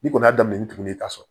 Ni kɔni y'a daminɛ ni tugun ye ka sɔrɔ